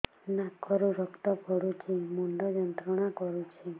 ନାକ ରୁ ରକ୍ତ ପଡ଼ୁଛି ମୁଣ୍ଡ ଯନ୍ତ୍ରଣା କରୁଛି